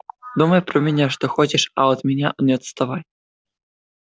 думай про меня что хочешь а от меня не отставай